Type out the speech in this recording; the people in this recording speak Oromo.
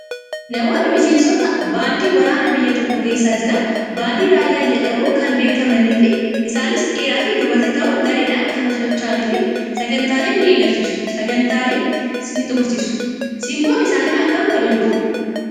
Namoonni miseensota baandii waraana biyya tokkoo keessa jiran baandii raayyaa jedhamnuu kan beekamanii fi isaanis dhiiraa fi dubartii ta'uun gareedhaan kan socho'anii fi sagantaalee ni eegalchiisu, sagantaalee ni xumursiisu. SImboon isaanii akkam akka bareedu.